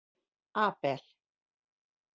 Abel